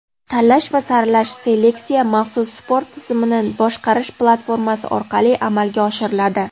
tanlash va saralash (seleksiya) maxsus sport tizimini boshqarish platformasi orqali amalga oshiriladi.